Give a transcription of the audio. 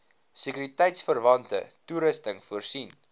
sekuriteitverwante toerusting voorsien